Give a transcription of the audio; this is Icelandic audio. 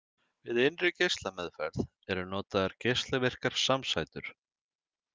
Við innri geislameðferð eru notaðar geislavirkar samsætur.